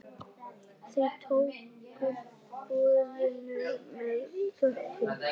Þau tóku boðinu með þökkum.